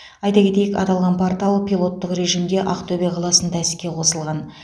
айта кетейік аталған портал пилоттық режимде ақтөбе қаласында іске қосылған